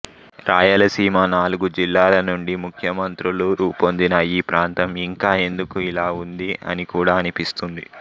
రాయలసీమ నాలుగు జిల్లాల నుండి ముఖ్యమంత్రులు రూపొందినా ఈ ప్రాంతం ఇంకా ఎందుకు ఇలా ఉంది అని కూడా అనిపిస్తుంది